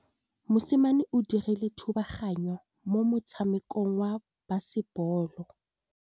Mosimane o dirile thubaganyô mo motshamekong wa basebôlô.